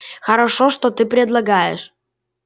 хорошо что ты предлагаешь